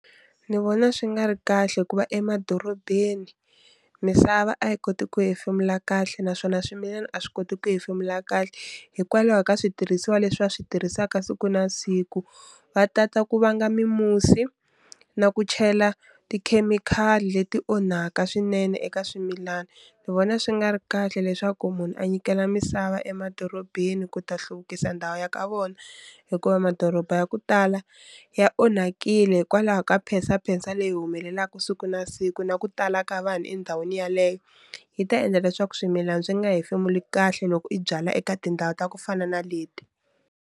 Ni vona swi nga ri kahle hikuva emadorobeni misava a yi koti ku hefemula kahle naswona swimilani a swi koti ku hefemula kahle, hikwalaho ka switirhisiwa leswi va swi tirhisaka siku na siku, va tata ku vanga mimusi na ku chela tikhemikhali leti onhaka swinene eka swimilana. Ni vona swi nga ri kahle leswaku munhu a nyikela misava emadorobeni ku ta hluvukisa ndhawu ya ka vona, hikuva madoroba ya ku tala ya onhakile hikwalaho ka phensaphensa leyi humelelaku siku na siku na ku tala ka vanhu endhawini yaleyo yi ta endla leswaku swimilani swi nga hefemula kahle loko i byala eka tindhawu ta ku fana na leti.